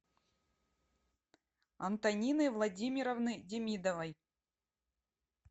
антонины владимировны демидовой